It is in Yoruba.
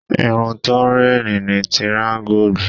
Irun tó ń réènì ni tiraańgù